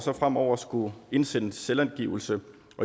fremover at skulle indsende selvangivelse